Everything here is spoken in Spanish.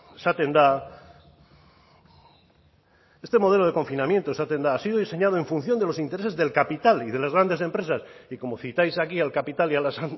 esaten da este modelo de confinamiento esaten da ha sido diseñado en función de los intereses del capital y de las grandes empresas y como citáis aquí al capital y a las